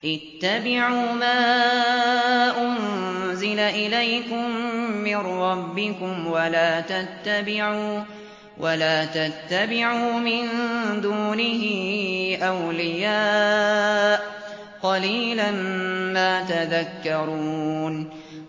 اتَّبِعُوا مَا أُنزِلَ إِلَيْكُم مِّن رَّبِّكُمْ وَلَا تَتَّبِعُوا مِن دُونِهِ أَوْلِيَاءَ ۗ قَلِيلًا مَّا تَذَكَّرُونَ